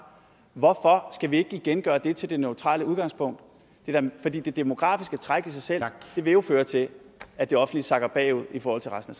hvorfor skal vi ikke igen gøre det til det neutrale udgangspunkt fordi det demografiske træk i sig selv jo vil føre til at det offentlige sakker bagud i forhold til resten